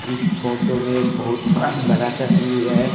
इस फोटो में एक बहुत बड़ा तस्वीर है।